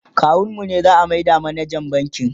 kawun mu ne za'a maida manajan bankin